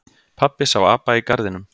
Pabbi sá apa í garðinum.